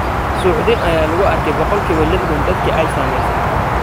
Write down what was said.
Suuxdin ayaa lagu arkay boqolkiiba 60 dadka ay saamaysay.